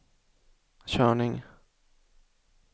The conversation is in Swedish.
körning